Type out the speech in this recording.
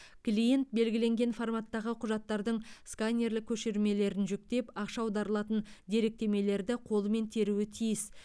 клиент белгіленген форматтағы құжаттардың сканерлік көшірмелерін жүктеп ақша аударылатын деректемелерді қолымен теруі тиіс